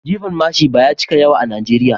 Jifan mashin ba ya cika yawa a Najeriya